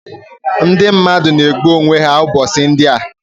Ndị mmadụ na-egbu onwe ha ụbọchị ndị a